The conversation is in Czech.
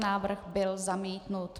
Návrh byl zamítnut.